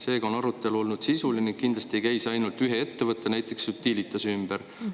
Seega on arutelu olnud sisuline ning kindlasti ei käi see ainult ühe ettevõtte, näiteks Utilitase ümber.